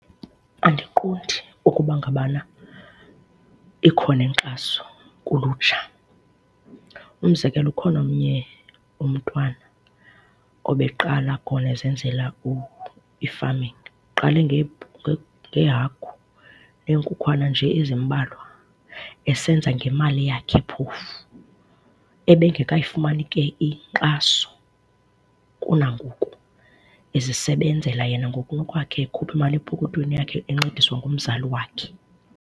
Andiqondi ukuba ngabana ikhona inkxaso kulutsha. Umzekelo, ukhona omnye umntwana obeqala khona esenzela i-farming. Uqale ngeehagu neenkukhwana nje ezimbalwa esenza ngemali yakhe phofu. Ebengekayifumani ke inkxaso kunangoku, ezisebenzela yena ngokunokwakhe ekhupha imali yakhe epokothweni yakhe, encediswa ngumzali wakhe.